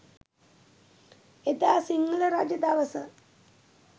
එදා සිංහල රජදවස